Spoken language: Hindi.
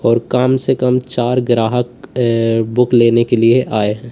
और कम से कम चार ग्राहक बुक लेने के लिए आए हैं।